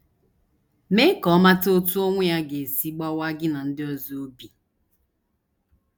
Mee ka ọ mata otú ọnwụ ya ga - esi gbawaa gị na ndị ọzọ obi.